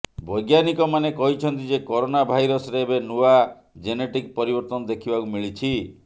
ବୈଜ୍ଞାନିକମାନେ କହିଛନ୍ତି ଯେ କରୋନା ଭାଇରସରେ ଏବେ ନୂଆ ଜେନେଟିକ ପରିବର୍ତ୍ତନ ଦେଖିବାକୁ ମିଳିଛି